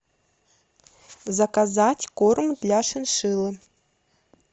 заказать корм для шиншиллы